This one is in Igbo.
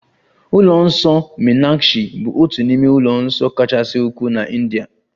Ụlọ nsọ meenakshi bụ otu n'ime ụlọ nsọ kachasị ukwuu na India